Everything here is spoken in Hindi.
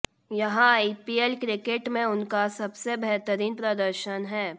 यह आईपीएल क्रिकेट में उनका सबसे बेहतरीन प्रदर्शन है